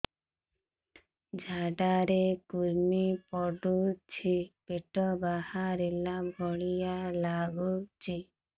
ଝାଡା ରେ କୁର୍ମି ପଡୁଛି ପେଟ ବାହାରିଲା ଭଳିଆ ଲାଗୁଚି